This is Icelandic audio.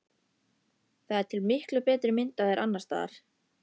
Það er til miklu betri mynd af þér annars staðar.